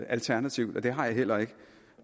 alternativ og det har jeg heller ikke